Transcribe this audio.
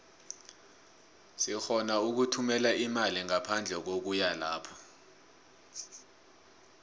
sirhona ukuthumela imali ngaphandle kokuya lapho